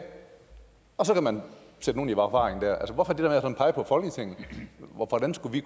og så kan man sætte nogle i forvaring der altså hvorfor at pege på folketinget hvordan skulle vi